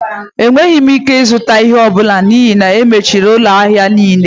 Enweghị m ike ịzụta ihe ọ bụla n'ihi na e mechiri ụlọ ahịa niile